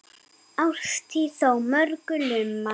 Árstíð þó á mörgu lumar.